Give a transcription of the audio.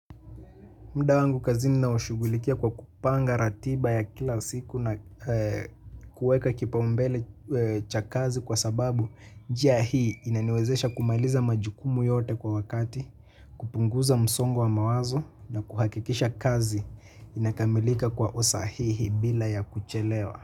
Muda wangu kazini naushughulikia kwa kupanga ratiba ya kila siku na kuweka kipaumbele cha kazi kwa sababu njia hii inaniwezesha kumaliza majukumu yote kwa wakati, kupunguza msongo wa mawazo na kuhakikisha kazi inakamilika kwa usahihi bila ya kuchelewa.